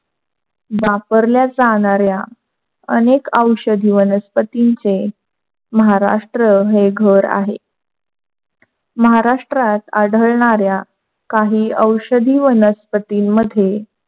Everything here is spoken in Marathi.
वापरल्या जाणाऱ्या अनेक औषधी वनस्पतीचे महाराष्ट्र हे घर आहे. महाराष्ट्रात आढळणाऱ्या काही औषधी वनस्पती मध्ये,